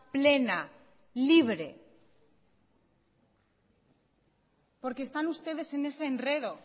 plena y libre porque están ustedes